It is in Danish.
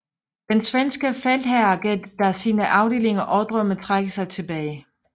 Den svenske feltherre gav da sine afdelinger ordre om at trække sig tilbage